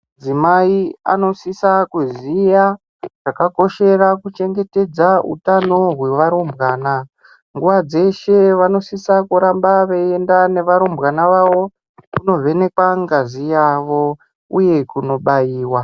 Adzimai ano sisa kuziya zvaka koshera ku chengetedza utano hwe varumbwana nguva dzeshe vano sisa kuramba veyi enda ne varumbwana vavo kuno vhenekwa ngazi yavo uye kuno baiwa.